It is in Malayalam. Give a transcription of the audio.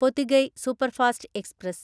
Pothigai superfast express